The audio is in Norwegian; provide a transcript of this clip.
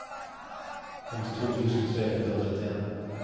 femtito tusen tre hundre og trettien